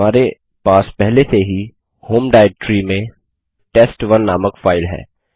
हमारे पास पहले से ही होम डाइरेक्टरी में टेस्ट1 नामक फाइल है